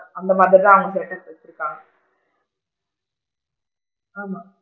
அந்த மாதிரி தான் அவுங்க set up வச்சு இருக்காங்க ஆமா,